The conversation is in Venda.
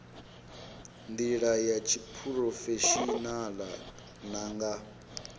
ndila ya tshiphurofeshinala na nga